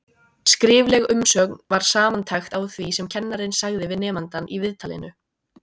Skrifleg umsögn var samantekt á því sem kennarinn sagði við nemandann í viðtalinu.